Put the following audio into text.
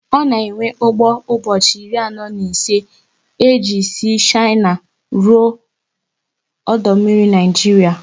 Ọ na ewe ụgbọ ụbọchị iri anọ na ise e ji sị Shina ruo ọdụ mmiri Naịjiria